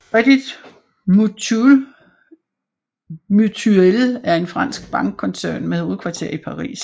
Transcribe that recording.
Crédit Mutuel er en fransk bankkoncern med hovedkvarter i Paris